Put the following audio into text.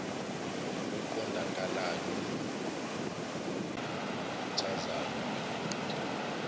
oqondakalayo nokhuthazayo wedod